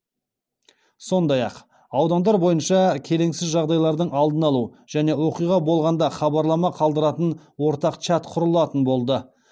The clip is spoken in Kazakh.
сондай ақ аудандар бойынша келеңсіз жағдайлардың алдын алу және оқиға болғанда хабарлама қалдыратын ортақ чат құрылатын болды